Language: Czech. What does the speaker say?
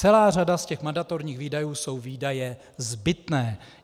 Celá řada z těch mandatorních výdajů jsou výdaje zbytné.